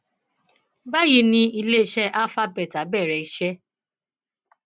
báyìí ni iléeṣẹ alpha beta bẹrẹ iṣẹ